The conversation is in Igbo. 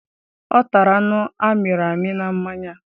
Ọ tara anụ amiri amị na mmanya